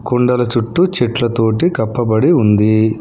కొండల చుట్టూ చెట్ల తోటి కప్పబడి ఉంది.